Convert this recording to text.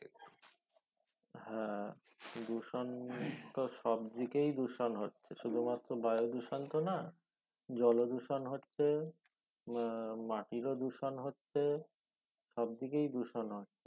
হ্যাঁ দূষণ তো সব দিকে দূষণ হচ্ছে শুধু মাত্র বায়ু দূষণ তো না জল দূষণ হচ্ছে আহ মাটিরও দূষণ হচ্ছে সব দিকে দূষণ হচ্ছে